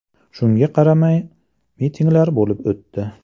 Shunga qaramay, mitinglar bo‘lib o‘tdi.